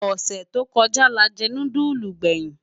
Osè tó kòjá lájè núdúlú gbèyin